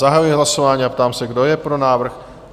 Zahajuji hlasování a ptám se, kdo je pro návrh?